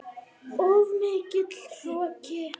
Of mikill hroki.